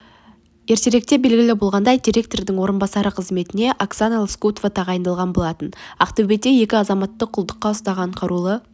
ертеректе белгілі болғандай директорының орынбасары қызметіне оксана лоскутова тағайындалған болатын ақтөбеде екі азаматты құлдықта ұстаған қарулы